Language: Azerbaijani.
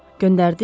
Göndərdiz?